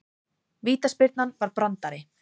Vítaspyrnan var brandari